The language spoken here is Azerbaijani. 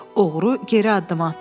Oğru geri addım atdı.